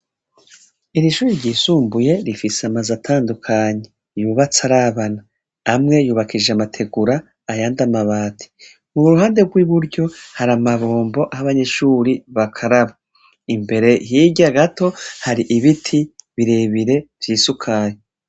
Irishure ryisumbuye rifise amazu atandukanye yubatse arabana amwe yubakishije amategura ayandi amabati iruhande rwiburyo hari amabombo abanyeshure bakaraba imbere hirya gato haribiti birebire vyisukari